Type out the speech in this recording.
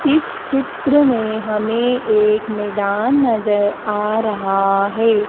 इस चित्र में हमें एक मैदान नजर आ रहा है।